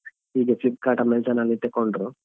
ಈಗ Flipkart, Amazon ಅಲ್ಲಿ ತೆಕೊಂಡ್ರು.